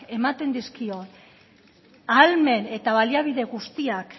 ematen dizkion ahalmen eta baliabide guztiak